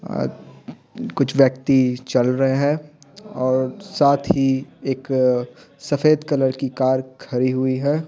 अअ कुछ व्यक्ति चल रहे हैं और साथ ही एक सफेद कलर की कार खरी हुई है।